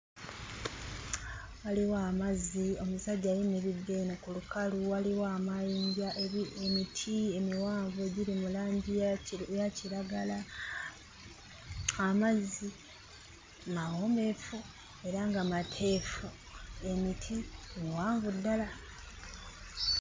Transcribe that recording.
Waliwo amazzi, omusajja ayimiridde eno ku lukalu, waliwo amayinja, emiti emiwanvu egiri mu langi ya kiragala, amazzi mawombeefu era nga mateefu. Emiti miwanvu ddala.